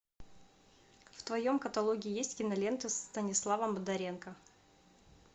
в твоем каталоге есть киноленты с станиславом бондаренко